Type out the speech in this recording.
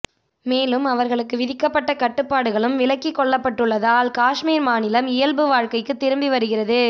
மேலும் அவர்களுக்கு விதிக்கப்பட்ட கட்டுப்பாடுகளும் விலக்கிக் கொள்ளப்பட்டுள்ளதால் காஷ்மீர் மாநிலம் இயல்பு வாழ்க்கைக்கு திரும்பி வருகிறது